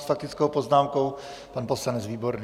S faktickou poznámkou pan poslanec Výborný.